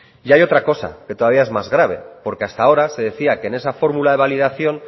y hay otra cosa que todavía es más grave porque hasta ahora se decía que en esa fórmula de validación